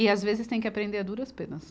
E às vezes tem que aprender a duras penas.